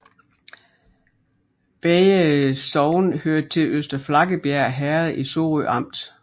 Begge sogne hørte til Øster Flakkebjerg Herred i Sorø Amt